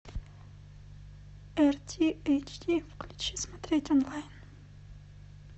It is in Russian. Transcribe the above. эр ти эйч ди включи смотреть онлайн